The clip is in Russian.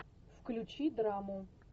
включи драму